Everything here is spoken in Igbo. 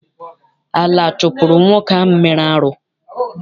Ala chụpụrụ nwoke ahụ mere arụ.